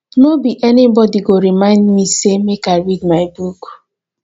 no be anybody go remind me sey make i read my book